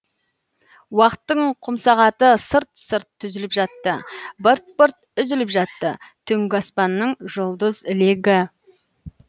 уақыттың құмсағаты сырт сырт түзіліп жатты бырт бырт үзіліп жатты түнгі аспанның жұлдыз ілегі